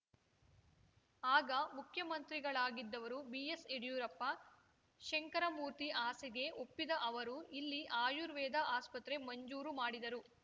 ಆಗ ಮುಖ್ಯಮಂತ್ರಿಗಳಾಗಿದ್ದವರು ಬಿಎಸ್‌ ಯಡ್ಯೂರಪ್ಪ ಶಂಕರಮೂರ್ತಿ ಆಸೆಗೆ ಒಪ್ಪಿದ ಅವರು ಇಲ್ಲಿ ಆಯುರ್ವೇದ ಆಸ್ಪತ್ರೆ ಮಂಜೂರು ಮಾಡಿದರು